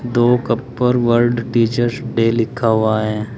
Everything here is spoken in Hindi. दो कप पर वर्ल्ड टीचर्स डे लिखा हुआ है।